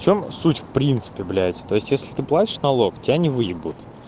в чем суть в принципе блять то есть если ты платишь налог тебя не выебут